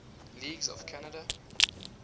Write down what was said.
languages of canada